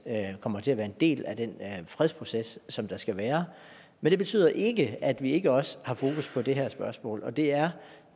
kommer til at være en del af den fredsproces som der skal være men det betyder ikke at vi ikke også har fokus på det her spørgsmål og det er